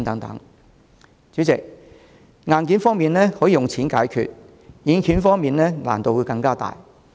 代理主席，硬件問題可以用錢解決，但軟件方面則難度更大。